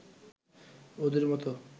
ওদের মত